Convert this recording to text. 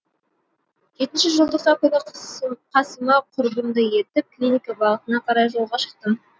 жетінші желтоқсан күні қасыма құрбымды ертіп клиника бағытына қарай жолға шықтым